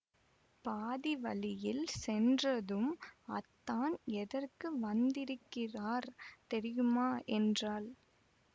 பாதி வழியில் சென்றதும் அத்தான் எதற்கு வந்திருக்கிறார் தெரியுமா என்றாள்